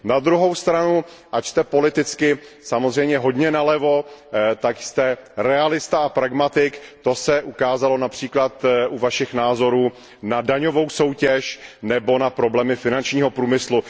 Na druhou stranu, ač jste politicky samozřejmě hodně nalevo, tak jste realista a pragmatik, to se ukázalo například u vašich názorů na daňovou soutěž nebo na problémy finančního průmyslu.